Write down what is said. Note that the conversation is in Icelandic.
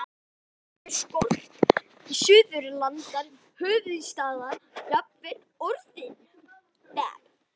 Rímið hefur skort, stuðlana, höfuðstafinn, jafnvel orðin.